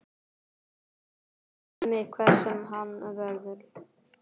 Hann mun ekki snerta mig hver sem hann verður.